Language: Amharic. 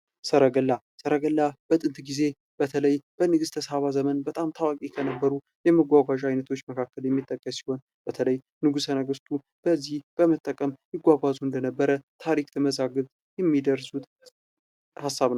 ሰረገላ ሰረገላ፦ በጥንት ጊዜ በተለይ በንግስተ ሳባ ዘመን በጣም ታዋቂ ከነበሩ የመጓጓዣዎች አይነቶች መካከል የሚጠቀስ ሲሆን በተለይ ነገስታቱ በዚህ በመጠቀም ይጓጓዙ እንደነበር ታሪክ መዛግብት የሚደርሱት ሀሳብ ነው።